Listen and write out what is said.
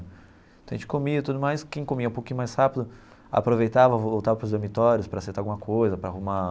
Então a gente comia e tudo mais, quem comia um pouquinho mais rápido aproveitava, voltava para os dormitórios para aceitar alguma coisa, para arrumar...